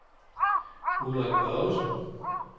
Ulrik Børgesen